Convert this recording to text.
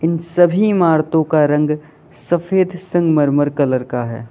इन सभी इमारतों का रंग सफेद संगमरमर कलर का है।